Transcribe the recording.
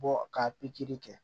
Bɔ ka pikiri kɛ